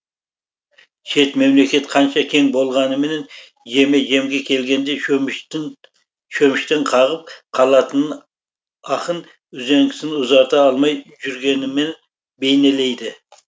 шет мемлекет қанша кең болғаныменен жеме жемге келгенде шөміштен қағып қалатынын ақын үзеңгісін ұзарта алмай жүргенімен бейнелейді